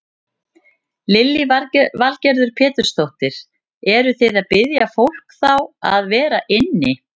Lillý Valgerður Pétursdóttir: Eruð þið að biðja fólk þá að vera inni?